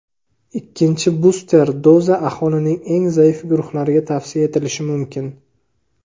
Ikkinchi buster doza aholining eng zaif guruhlariga tavsiya etilishi mumkin.